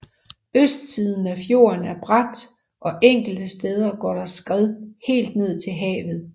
Østsiden af fjorden er brat og enkelte steder går der skred helt ned til havet